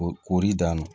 O koɔri dan na